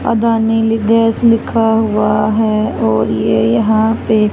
अदानी ली गैस लिखा हुआ है और ये यहां पे--